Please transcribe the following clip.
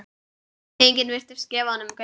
Enginn virtist gefa honum gaum.